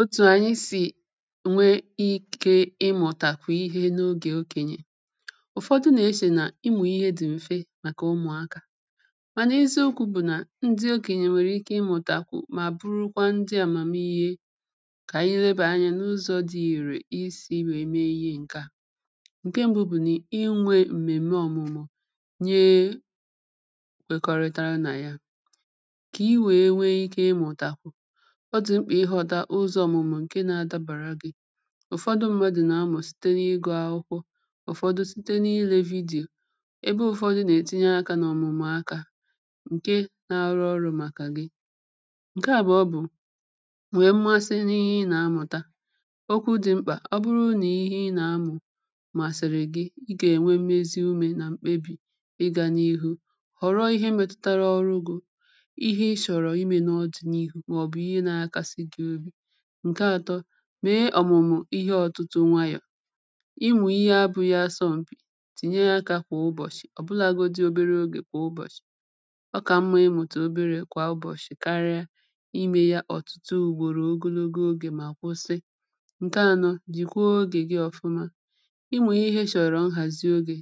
otù ànyị sì ǹwe ike ịmụ̀tàkwụ̀ ihe n’ogè okènyè Ụ̀fọdụ nà-eche nà ịmụ̀ ihe dị̀ m̀fe, màkà ụmụ̀akà mà n’eziokwu̇ bụ̀ nà ndị okènyè nwèrè ike ịmụ̀tàkwụ̀, mà burukwa ndị àmàmihe kà ànyị lebà anya n’ụzọ̇ dị ìrè isi̇ wee mee ihe ǹkè a ǹkè mbù bụ̀ nà inwe m̀mèm̀me ọ̀mụ̀mụ̀ nyèè kwèkọrịtara nà ya kà i wèe nwee ike ịmụ̀tàkwụ̀, ọ dị mkpà ihọta ụzọ ọ̀mụ̀mụ̀ nke na-adàbara gị, Ụ̀fọdụ mmadụ̀ nà-amụ̀ site n’ìgụ̀ akwụkwọ, Ụ̀fọdụ̇ site n’ìle vidíyo, ebe ụfọdụ̇ nà-ètinye akà n’ọ̀mụ̀mụ̀ akà ǹkè na-arụ ọrụ̇ màkà gị ǹkè àbụ̀ọ bụ̀ nwèe masị n’ihe ị nà-amụ̀ta. Okwu dị̀ mkpà: ọ bụrụ nà ihe ị nà-amụ̀ màsị̀rị̀ gị, ị gà-ènwe mmezi ùmé nà mkpebì. Ị gà n’ihu họrọ ihe metụtara ọrụ gị, ihe ị chọ̀rọ̀ ime n’ọdị n’ihu, maọbụ ihe n’akàsì gị obi ǹkè àtọ̇ mee ọ̀mụ̀mụ̀ ihe ọ̀tụtụ nwayọ̀. Ịmụ̀ ihe abụ̇ghị asọ̀mpi. Tìnye akà kwà ụbọ̀shị̀, ọ̀bụlagodi obere ogè kwà ụbọ̀shị̀. Ọ̀kà mma ịmụ̀tà obere kwà ụbọ̀shị̀ karịa ime ya ọ̀tụtụ ùgbòrò ogologo ogè mà kwụsị ǹkè anọ̇ dị̀kwa ogè gị ọfụma. Ịmụ̀ ihe chọ̀rọ̀ nhazi ogè.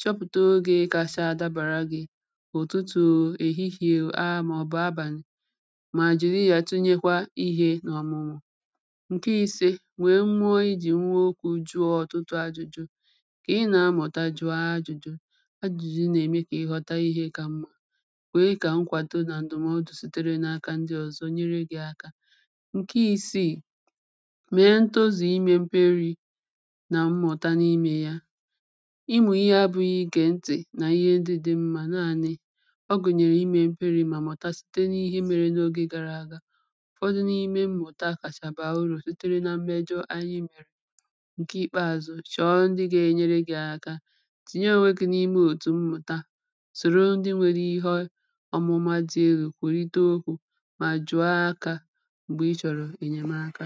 Chọpụ̀tà ogè kacha adàbara gị̇ — òtụtụ ọ, èhihìè ọ, màọbụ abànị̀ — ma jiri ya tụnyekwuo ihe n’ọ̀mụ̀mụ̀ ǹkè ìsè wèe mmụọ ijì nwụọ okwu̇. Jùọ ọ̀tụtụ ajụ̇jụ̇ kà ị nà-amụ̀ta. Jù ajụ̇jụ̇, ajụ̀jụ̀ nà-ème kà ị ghọ̇ta ihe kà mmȧ kwe kà nkwàdo nà ǹdụ̀mọdụ̀ sitere n’aka ndị ọ̀zọ nyere gị̇ aka ǹkè ìsìi mèe ntozù ime mperi̇ nà mmụ̀ta n’ime ya ịmụ̀ ihe abụ̇ghị ige ntì nà ihe ndị dị̇ mmȧ nanị, ọ gụ̀nyèrè ime mperi̇ mà mụ̀ta site n’ihe mere n’ogè gara aga. Ụ̀fọdụ n’ime mmụ̀ta kacha bàa uru sitere nà mmejọ ànyị mere ǹkè ìkpeàzụ̀ chọ̀ọ ndị gà-enyere gị̇ akà. Tìnyè onwe gị̇ n’ime òtù mmụ̀ta, sòro ndị nwere ihe ọ̀mụ̀ma dị egwù kwèrìte okwu̇, mà jùọ̀ akà m̀gbè ị chọ̀rọ̀ enyèmaka